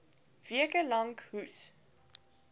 weke lank hoes